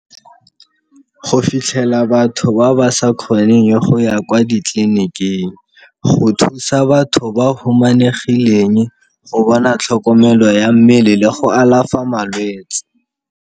Go fitlhela batho ba ba sa kgoneng go ya kwa ditleliniking, go thusa batho ba humanegileng go bona tlhokomelo ya mmele le go alafa malwetse.